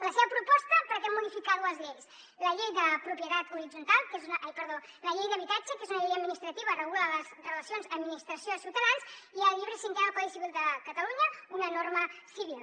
la seva proposta pretén modificar dues lleis la llei d’habitatge que és una llei administrativa regula les relacions administracióciutadans i el llibre cinquè del codi civil de catalunya una norma civil